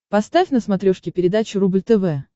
поставь на смотрешке передачу рубль тв